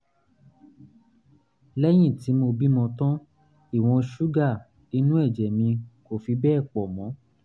lẹ́yìn tí mo bímọ tán ìwọ̀n ṣúgà inú ẹ̀jẹ̀ mi kò fi bẹ́ẹ̀ pọ̀ mọ́